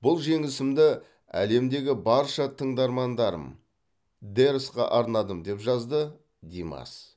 бұл жеңісімді әлемдегі барша тыңдармандарым дэрсқа арнадым деп жазды димас